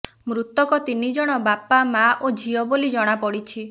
ମୃତକ ତିନି ଜଣ ବାପା ମା ଓ ଝିଅ ବୋଲି ଜଣାପଡିଛି